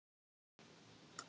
Datt það ekki í hug.